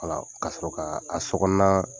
wala ka sɔrɔ k'a a sokɔnɔna